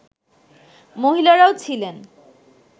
মহিলারাও ছিলেন